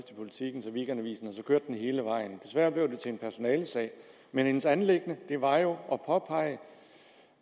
siden i weekendavisen og så kørte den hele vejen desværre til en personalesag men hendes anliggende var jo at påpege